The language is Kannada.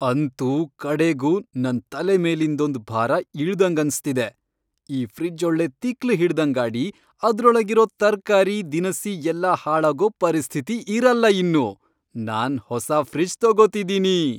ಅಂತೂ ಕಡೆಗೂ ನನ್ ತಲೆಮೇಲಿಂದೊಂದ್ ಭಾರ ಇಳ್ದಂಗನ್ಸ್ತಿದೆ. ಈ ಫ್ರಿಜ್ಜೊಳ್ಳೆ ತಿಕ್ಲ್ ಹಿಡ್ದಂಗಾಡಿ ಅದ್ರೊಳಗಿರೋ ತರ್ಕಾರಿ, ದಿನಸಿ ಎಲ್ಲ ಹಾಳಾಗೋ ಪರಿಸ್ಥಿತಿ ಇರಲ್ಲ ಇನ್ನು.. ನಾನ್ ಹೊಸ ಫ್ರಿಜ್ ತಗೊತಿದೀನಿ!